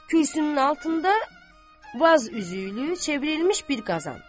Kürsünün altında vaz üzüylü çevrilmiş bir qazan.